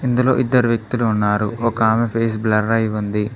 ఇందులో ఇద్దరు వ్యక్తులు ఉన్నారు ఒక ఆమె ఫేస్ బ్లర్ అయి ఉంది.